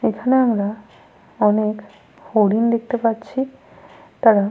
এখানে আমরা অনেক হরিণ দেখতে পাচ্ছি। তাঁরা ।